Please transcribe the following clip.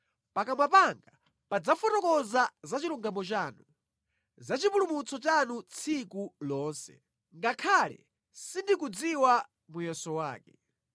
Pakamwa panga padzafotokoza za chilungamo chanu, za chipulumutso chanu tsiku lonse, ngakhale sindikudziwa muyeso wake.